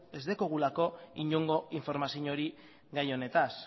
ez daukagulako inongo informaziorik gai honetan